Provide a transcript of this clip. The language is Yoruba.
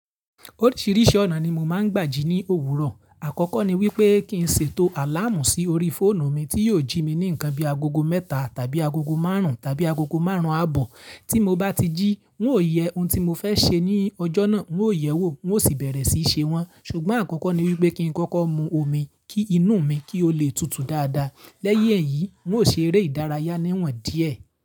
Oríṣiríṣi ọ̀nà ni mo máa ń gbà jí ní òwúrọ̀. Àkọ́kọ́ ni wípé kí n ṣètò àláàmù sí orí fóònù mi tí yóò jí mi ní nǹkan bí i agogo mẹ́ta tàbí agogo márùn-ún tàbí agogo márùn-ún ààbọ̀. Tí mo bá ti jí, n ó yẹ ohun tí mo fẹ́ ṣe ní ọjọ́ náà, n ó yẹ̀wò, wọn ó sì bẹ̀rẹ̀ sí í ṣe wọn. Ṣùgbọ́n àkọ́kọ́ ni wípé kí n kọ́kọ́ mu omi kí inú mi kí ó le tutù dáadáa. Lẹ́yìn èyí, n ó ṣe eré ìdárayá níwọ̀n díẹ̀